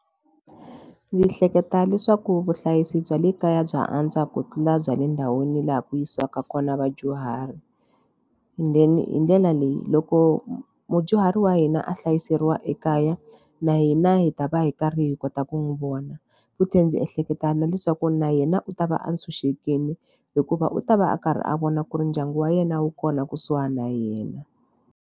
Ndzi hleketa leswaku vuhlayisi bya le kaya bya antswa ku tlula bya le ndhawini laha ku yisiwaka kona vadyuhari then hi ndlela leyi loko mudyuhari wa hina a hlayiseriwa ekaya na hina hi ta va hi karhi hi kota ku n'wi vona futhi ndzi ehleketa na leswaku na yena u ta va a tshunxekile hikuva u ta va a karhi a vona ku ri ndyangu wa yena wu kona kusuhana na yena.